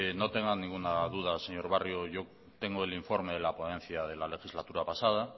no tenga ninguna duda señor barrio yo tengo el informe de la ponencia de la legislatura pasada